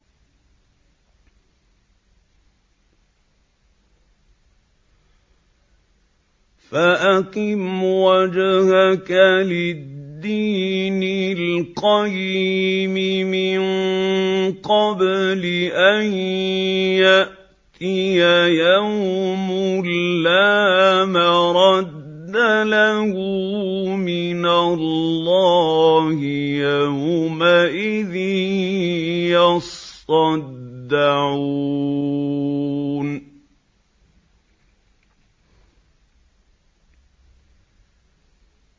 فَأَقِمْ وَجْهَكَ لِلدِّينِ الْقَيِّمِ مِن قَبْلِ أَن يَأْتِيَ يَوْمٌ لَّا مَرَدَّ لَهُ مِنَ اللَّهِ ۖ يَوْمَئِذٍ يَصَّدَّعُونَ